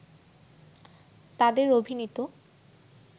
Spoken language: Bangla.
তাদের অভিনীত